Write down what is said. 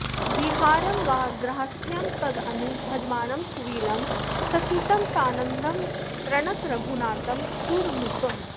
विहारं गार्हस्थ्यं तदनु भजमानं सुविमलं ससीतं सानन्दं प्रणत रघुनाथं सुरनुतम्